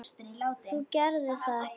Þú gerðir það ekki?